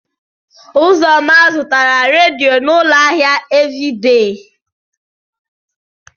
Ụzọnna zụtara redio n'ụlọ ahịa Eveidee.